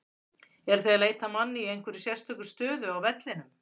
Eruð þið að leita að manni í einhverja sérstaka stöðu á vellinum?